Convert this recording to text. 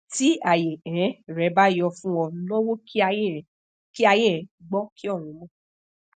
ti aye um re bayo fun o nawo ki aye um ki aye um gbo ki orun mo